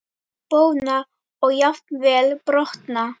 Bogna og jafnvel brotna.